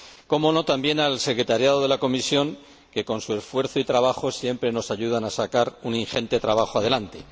Cómo no, también a la secretaría de la comisión, que, con su esfuerzo y dedicación, siempre nos ayudan a sacar un ingente trabajo adelante.